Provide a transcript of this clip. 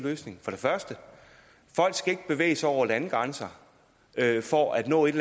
løsning folk skal ikke bevæge sig over landegrænser for at nå et